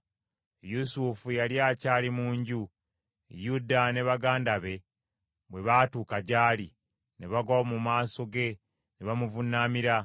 Yusufu yali akyali mu nju, Yuda ne baganda be bwe baatuuka gy’ali, ne bagwa mu maaso ge ne bamuvuunamira.